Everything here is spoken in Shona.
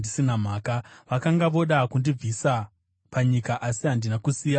Vakanga voda kundibvisa panyika, asi handina kusiya zvamakatema.